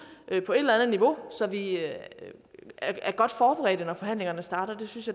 på et eller andet niveau så vi er godt forberedt når forhandlingerne starter jeg synes